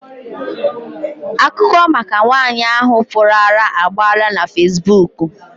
Akụkọ maka nwaanyị ahụ pụrụ ara agbaala na fesibuuku.